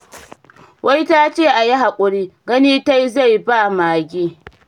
Wai ta ce a yi haƙuri, gani ta yi zai ba wa mage.